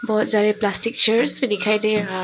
बहुत सारे plastic chairs भी दिखाई दे रहा--